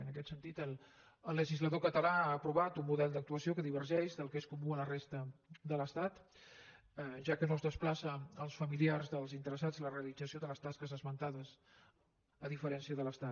en aquest sentit el legislador català ha aprovat un model d’actuació que divergeix del que és comú a la res ta de l’estat ja que no es desplaça als familiars dels interessats la realització de les tasques esmentades a diferència de l’estat